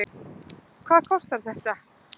Hvað kostar þetta?